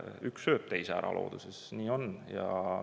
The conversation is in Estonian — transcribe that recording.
Üks sööb teise ära looduses, nii on.